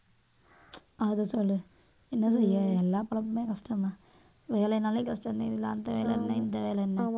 அதை சொல்லு என்ன செய்ய எல்லா பொழப்புமே கஷ்டம்தான். வேலைனாலே கஷ்டம்தான். இதுல அந்த வேலை என்ன இந்த வேலை என்ன